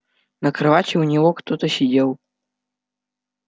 на кровати у него кто-то сидел